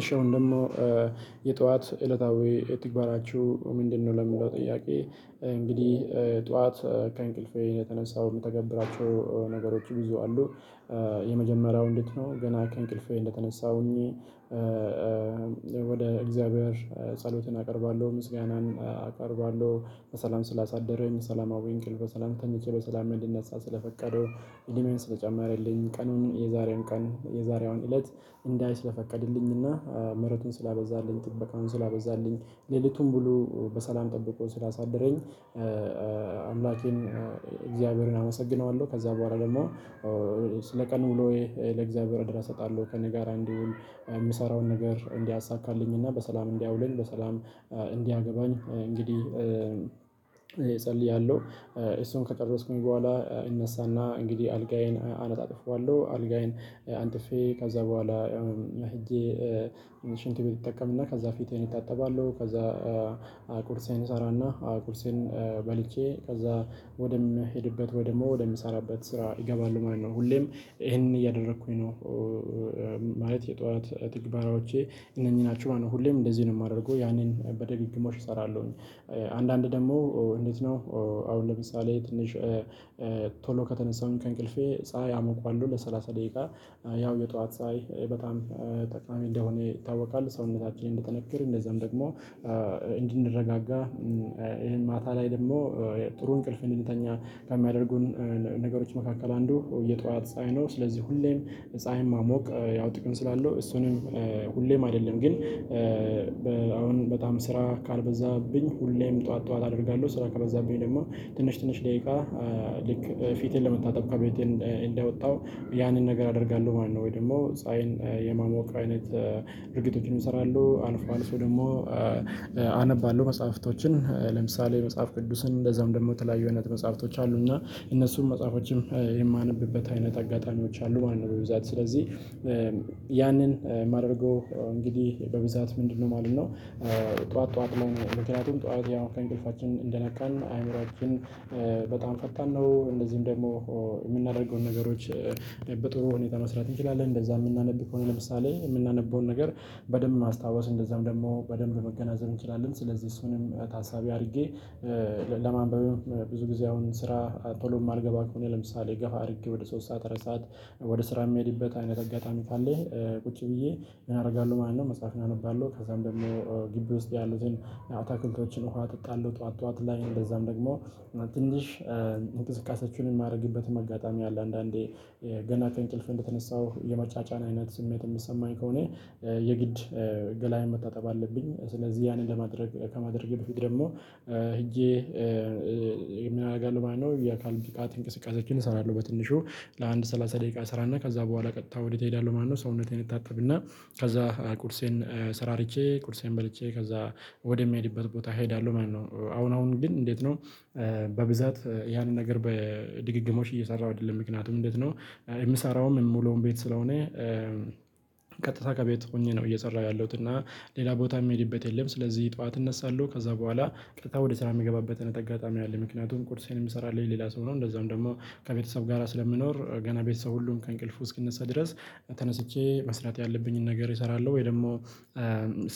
እሺ አሁን ደግሞ የጠዋት እለታዊ ተግባራችሁ ምንድነው? ለሚለው ጥያቄ እንግዲህ ጠዋት ከእንቅልፌ እየተነሳው የምተገብራቸው ነገሮች ብዙ አሉ። የመጀመሪያው እንዴት ነው? ገና ከእንቅልፌ እንደተነሳውኝ ወደ እግዚአብሔር ጸሎትን አቀርባለሁ ምስጋናን አቀርባለው በሰላም ስላሳደረኝ ሰላማዊ እንቅልፍ በሰላም ተኝቼ በሰላም እንድነሳ ስለፈቀዱ እድሜ ስለጨመረልኝ ቀኑን የዛሬን ቀን የዛሬዋን እለት እንዳይ ስለፈቀድልኝ እና ምህረቱን ስላበዛልኝ ጥበቃውን ስላበዛልኝ ሌሊቱን ብሎ በሰላም ጠብቆ ስላሳደረኝ አምላኬን እግዚአብሔርን አመሰግነዋለሁ። ከዛ በኋላ ደግሞ ስለ ቀን ውሎዬ ለእግዚአብሔር አደራ እሰጣለሁ ከእኔ ጋር እንዲውል የምሰራውን ነገር እንዲያሳካልኝ እና በሰላም እንዲያውልኝ በሰላም እንዲያገባኝ እንግዲህ እጸልያለሁ። እሱን ከጨረስኩኝ በኋላ እነሳ እና እንግዲህ አልጋዬን አነጣጥፈዋለሁ አልጋዬን አንጥፌ ከዛ በኋላ ያውም ሄጄ ሽንት እጠቀም እና ከዛ ፊቴን እታጠባለው። ከዛ ቁርሴን እሰራ እና አቁርሴን በልቼ ከዛ ወደምሄድበት ወይ ደሞ ወደ ምሰራበት ስራ እገባለው ማለት ነው። ሁሌም ይሄንን እያደረኩኝ ነው። ማለት የጠዋት ትግበራዎቼ እነኚህ ናቸው ማለት ነው። ሁሌም እንደዚህ ነው የማደርገው ያንን በድግግሞሽ እሰራለሁኝ። አንዳንዴ ደግሞ እንዴት ነው? አሁን ለምሳሌ ትንሽ ቶሎ ከተነሳውኝ ከእንቅልፌ ፀሀይ አመቆዋለው ለሰላሳ ደቂቃ ያው የጠዋት ፀሀይ በጣም ጠቃሚ እንደሆነ ይታወቃል። ሰውነታችንን እንዲጠነክር እንደዛም ደግሞ እንድንረጋጋ ይሄን ማታ ላይ ደግሞ ጥሩ እንቅልፍ እንድንተኛ ከሚያደርጉን ነገሮች መካከል አንዱ የጠዋት ፀሀይ ነው። ስለዚህ ሁሌም ፀሀይን መሞቅ ያው ጥቅም ስላለው እሱንም ሁሌም አይደለም ግን አሁን በጣም ስራ ካልበዛብኝ ሁሌም ጠዋት ጠዋት አደርጋለሁ። ስራ ከበዛብኝ ደግሞ ትንሽ ትንሽ ደቂቃ ልክ ፊቴን ለመታጣብ ከቤቴ እንደወጣው ያንን ነገር አደርጋለሁ ማለት ነው። ወይ ደግሞ ፀሀይን የማሞቅ አይነት ድርጊቶችን እሰራለሁ። አልፎ አልፎ ደግሞ አነባለው መጽሐፍቶችን ለምሳሌ መጽሐፍ ቅዱስን እንደዛውም ደግሞ የተለያዩ አይነት መጽሐፍቶች አሉ እና እነሱም መጽሐፎችም የማነብበት አይነት አጋጣሚዎች አሉ ማለት ነው። በብዛት ስለዚህ ያንን ማድረገው እንግዲህ በብዛት ምንድነው ማለት ነው? ጠዋት ጠዋት ላይ ነው ምክንያቱም ጠዋት ያው ከእንቅልፋችን እንደነቃን አይምሮአችን በጣም ፈታን ነው። እንደዚሁም ደግሞ የምናደርገውን ነገሮች በጥሩ ሁኔታ መስራት እንችላለን። እንደዛ የምናነብ ከሆነ ለምሳሌ የምናነበውን ነገር በደንብ ማስታወስ እንደዛም ደግሞ በደንብ መገናዘብ እንችላለን። ስለዚህ እሱንም ታሳቢ አድርጌ ለማንበብም ብዙ ጊዜ አሁን ስራ ቶሎ የማልገባ ከሆነ ለምሳሌ ገፋ አድርጌ ወደ ሶስት ሰዓት አራት ሰዓት ወደ ስራ የሚሄድበት አይነት አጋጣሚ ካለ ቁጭ ብዬ ምን አርጋለው ማለት ነው። መጽሐፍን አነባለሁ ከዛም ደግሞ ግቢ ውስጥ ያሉትን አታክልቶችን ውሃ አጠጣለሁ። ጠዋት ጠዋት ላይ እንደዛም ደግሞ ትንሽ እንቅስቃሴዎችን የማደርግበትም አጋጣሚ አለ። አንዳንዴ ገና ከእንቅልፌ እንደተነሳሁ የመጫጫን አይነት ስሜት የሚሰማኝ ከሆነ የግድ ገላዬን መታጠብ አለብኝ ስለዚህ ያንን ለማድረግ ከማድረጌ በፊት ደግሞ ሄጄ ምን አደርጋለሁ ማለት ነው። የአካል ብቃት እንቅስቃሴዎችን እሰራለሁ በትንሹ ለአንድ ሰላሳ ደቂቃ እሰራ እና ከዛ በኋላ ቀጥታ ወዴት እሄዳለሁ ማለት ነው። ሰውነቴን እታጠብ እና ከዛ ቁርሴን ስራርቼ ቁርሴን በልቼ ከዛ ወደ ምሄድበት ቦታ እሄዳለሁ ማለት ነው። አሁን አሁን ግን እንዴት ነው? በብዛት ያንን ነገር በድግግሞሽ እየሰራሁ አይደለም ምክንያቱም እንዴት ነው የምሰራውም የምውለውም ቤት ስለሆነ። ቀጥታ ከቤት ሆኜ ነው እየሰራሁ ያለሁት እና ሌላ ቦታ የምሄድበት የለም። ስለዚህ ጠዋት እነሳለሁ ከዛ በኋላ ቀጥታ ወደ ስራ የምገባበትን አጋጣሚ አለ። ምክንያቱም ቁርሴን የሚሰራልኝ ሌላ ሰው ነው እንደዛውም ደግሞ ከቤተሰብ ጋራ ስለምኖር ገና ቤተሰብ ሁሉን ከእንቅልፉ እስኪነሳ ድረስ ተነስቼ መስራት ያለብኝን ነገር እሰራለሁ። ወይ ደግሞ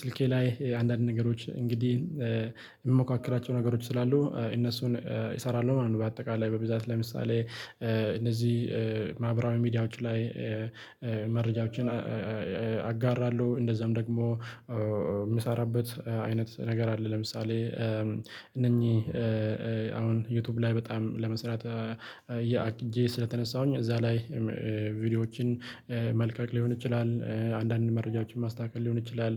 ስልኬ ላይ አንዳንድ ነገሮች እንግዲህ የምሞካከራቸው ነገሮች ስላሉ እነሱን እሰራለሁ ማለት ነው። በአጠቃላይ በብዛት ለምሳሌ እነዚህ ማህበራዊ ሚዲያዎች ላይ መረጃዎችን አጋራለው። እንደዛም ደግሞ የምሰራበት አይነት ነገር አለ። ለምሳሌ እነኚህ አሁን ዩቲዩብ ላይ በጣም ለመስራት አቅጄ ስለተነሳሁኝ እዛ ላይ ቪዲዮዎችን መልቀቅ ሊሆን ይችላል። አንዳንድ መረጃዎችን ማስተካከል ሊሆን ይችላል።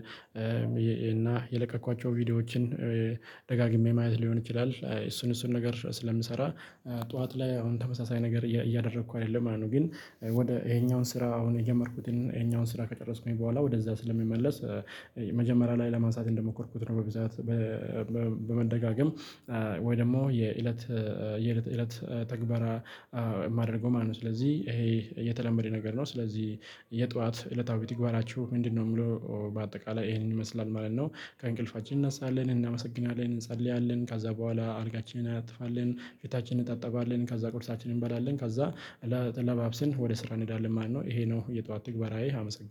እና የለቀኳቸውን ቪዲዮዎችን ደጋግሜ ማየት ሊሆን ይችላል። እሱን እሱን ነገር ስለምንሰራ ጠዋት ላይ አሁን ተመሳሳይ ነገር እያደረኩ አይደለም ማለት ነው። ግን ወደ ይሄኛውን ስራ አሁን የጀመርኩትን ይሄኛውን ስራ ከጨረስኩኝ በኋላ ወደዛ ስለምመለስ መጀመሪያ ላይ ለማንሳት እንደሞከርኩት ነው። በብዛት በመደጋገም ወይ ደግሞ የእለት የእለት ተግባራ የማደርገው ማለት ነው። ስለዚህ ይሄ የተለመደ ነገር ነው። ስለዚህ የጠዋት እለታዊ ተግባራችሁ ምንድነው? የሚለው በአጠቃላይ ይሄንን ይመስላል ማለት ነው። ከእንቅልፋችን እንነሳለን እናመሰግናለን እንጸልያለን ከዛ በኋላ አልጋችን አናነጥፋለን ፊታችንን እንታጠባለን ከዛ ቁርሳችንን እንበላለን ከዛ ለባብስን ወደ ስራ እንሄዳለን ማለትነው ይሄ ነው የጠዋት ትግባራዬ አመሰግናለው